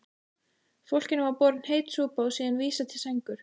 Fólkinu var borin heit súpa og síðan vísað til sængur.